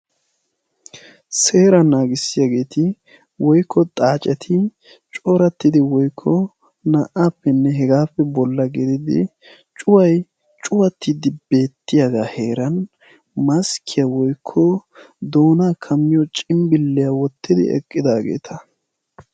seera naagissiyaageeti woikko xaaceti corattidi woikko naa77aappenne hegaappe bolla geedidi cuwai cuwattiiddi beettiyaagaa heeran maskkiyaa woikko doonaa kamiyo cimbbilliyaa wottidi eqqidaageeta